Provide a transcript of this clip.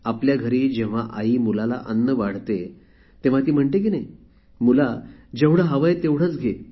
आपल्या घरी जेव्हा आई मुलाला अन्न वाढते तेव्हा ती म्हणते की मुला जेवढे हवे आहे तेवढेच घे